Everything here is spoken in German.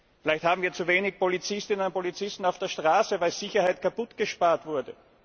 Vielleicht haben wir zu wenige Polizistinnen und Polizisten auf der Straße, weil Sicherheit kaputtgespart wurde.